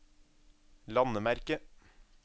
landemerke